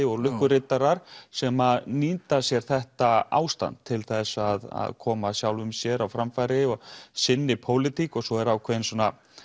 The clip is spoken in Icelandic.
og lukkuriddarar sem nýta sér þetta ástand til þess að koma sjálfum sér á framfæri og sinni pólitík svo er ákveðinn svona